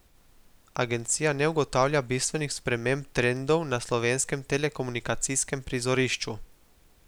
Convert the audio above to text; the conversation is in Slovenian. Agencija ne ugotavlja bistvenih sprememb trendov na slovenskem telekomunikacijskem prizorišču.